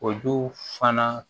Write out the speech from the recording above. Olu fana